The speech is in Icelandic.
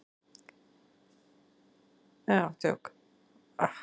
Edda Andrésdóttir: Heimir, hefur Félagsdómur komist að niðurstöðu?